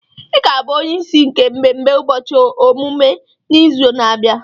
I ga-abụ onyeisi nke mmemme ụbọchị ọmụmụ n'izu na-abịa.